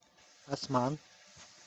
осман